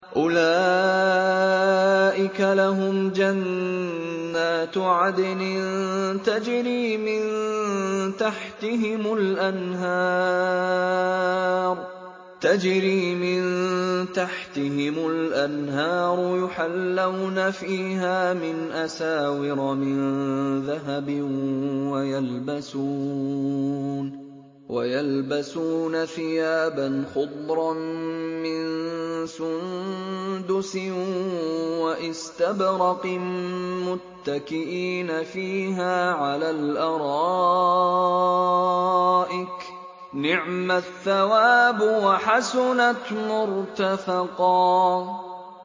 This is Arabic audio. أُولَٰئِكَ لَهُمْ جَنَّاتُ عَدْنٍ تَجْرِي مِن تَحْتِهِمُ الْأَنْهَارُ يُحَلَّوْنَ فِيهَا مِنْ أَسَاوِرَ مِن ذَهَبٍ وَيَلْبَسُونَ ثِيَابًا خُضْرًا مِّن سُندُسٍ وَإِسْتَبْرَقٍ مُّتَّكِئِينَ فِيهَا عَلَى الْأَرَائِكِ ۚ نِعْمَ الثَّوَابُ وَحَسُنَتْ مُرْتَفَقًا